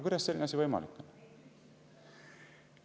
Kuidas selline asi on võimalik?